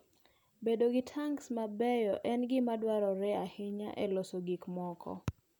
Bedo gi tanks mabeyo en gima dwarore ahinya e loso gik moko.